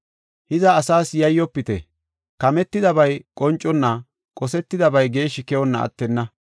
“Hiza, asas yayyofite. Kametidabay qonconna, qosetidabay geeshshi keyonna attenna.